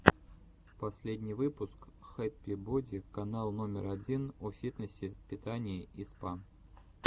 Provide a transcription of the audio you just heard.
последний выпуск хэппи боди канал номер один о фитнесе питании и спа